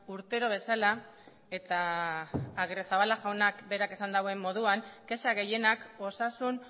urtero bezala eta agirrezabala jaunak berak esan duen moduan kexa gehienak osasun